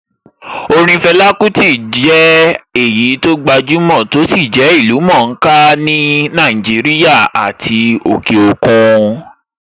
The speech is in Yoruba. Orin Fela Kuti jẹ́ èyí tó gbajúmọ̀ tó sì jẹ́ ìlú-mọ̀-ó-ká ní Nàìjíríà àti òkè òkun.